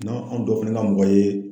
N'an an dɔ fɛnɛ ka mɔgɔ ye